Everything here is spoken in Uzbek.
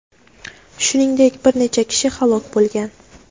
Shuningdek, bir necha kishi halok bo‘lgan.